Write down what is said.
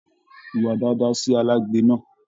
Hùwà dáadáa sí alágbẹ̀ náà.